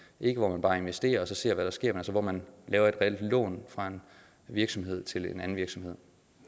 ikke hvor man bare investerer og ser hvad der sker men hvor man laver et reelt lån fra en virksomhed til en anden virksomhed